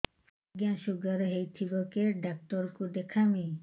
ଆଜ୍ଞା ଶୁଗାର ହେଇଥିବ କେ ଡାକ୍ତର କୁ ଦେଖାମି